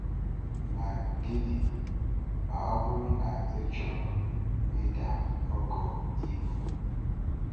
Ma, gịnị ma ọ bụrụ na ị chọrọ ịda ogo ibu?